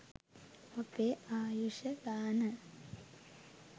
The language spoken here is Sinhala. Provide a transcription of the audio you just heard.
අපේ ආයුෂ ගාන